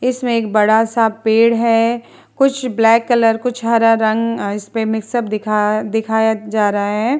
इसमें एक बड़ा सा पेड़ है । कुछ ब्लैक कलर कुछ हरा रंग इसपे मिक्स अप दिखा दिखाया जा रहा है ।